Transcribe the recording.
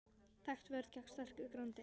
Þekkt vörn gegn sterku grandi.